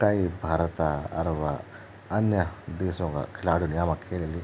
कई भारत अर व अन्य देशों का खिलाडी युल यामा खेलली ।